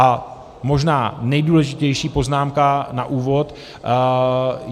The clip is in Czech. A možná nejdůležitější poznámka na úvod.